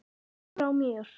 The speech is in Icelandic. Fer frá mér.